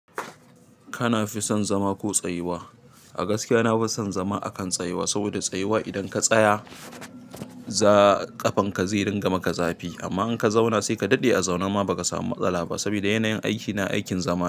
Kana fi son zama ko tsayuwa? A gaskiya na fi son zama akan tsayuwa. Saboda tsayuwa idan ka tsaya zaa ƙafanka zai dinga maka zafi amma in ka zauna sai ka daɗe a zaune ma ba ka samu matsala ba. Saboda yanayin aiki na, aikin zama.